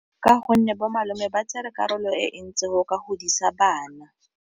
Ka gonne bo malome ba tsere karolo e ntsi mo go ka godisa bana.